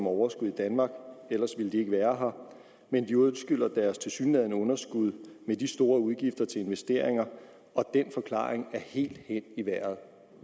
overskud i danmark ellers ville de jo ikke være her men de undskylder deres tilsyneladende underskud med store udgifter til investeringer og den forklaring er helt hen i vejret